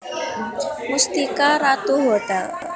Mustika Ratu Hotel